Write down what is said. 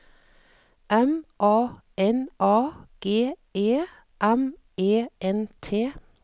M A N A G E M E N T